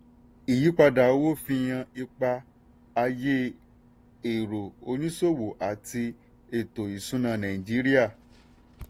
ìyípadà owó fihan ipa ayé èrò oníṣòwò àti eto ìṣúnná nàìjíríà.